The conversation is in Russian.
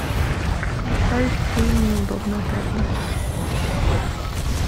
включай фильм неудобная правда